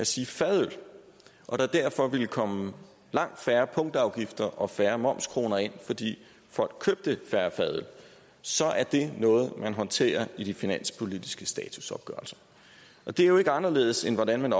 sige fadøl og der derfor ville komme langt færre punktafgifter og færre momskroner ind fordi folk købte færre fadøl så er det noget man håndterer i de finanspolitiske statusopgørelser det er jo ikke anderledes end hvordan man